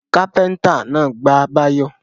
Kápẹ́ńtà náà gbá Báyọ̀.